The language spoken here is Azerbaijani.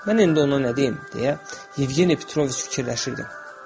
Mən indi ona nə deyim, deyə Yevgeni Petroviç fikirləşirdi.